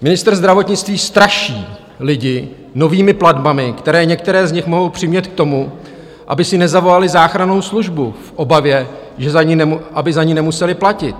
Ministr zdravotnictví straší lidi novými platbami, které některé z nich mohou přimět k tomu, aby si nezavolali záchrannou službu v obavě, aby za ni nemuseli platit.